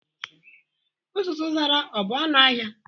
Uzuzu Zara ọ bụ ọnụ ahịa?